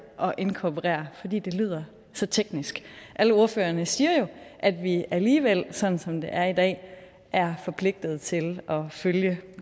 og inkorporere for det det lyder så teknisk alle ordførerne siger jo at vi alligevel sådan som det er i dag er forpligtet til at følge